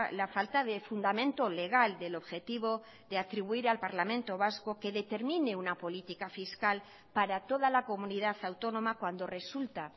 la falta de fundamento legal del objetivo de atribuir al parlamento vasco que determine una política fiscal para toda la comunidad autónoma cuando resulta